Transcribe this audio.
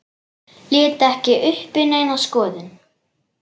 Lét ekki uppi neina skoðun.